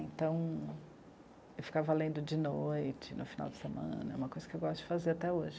Então, eu ficava lendo de noite, no final de semana, é uma coisa que eu gosto de fazer até hoje.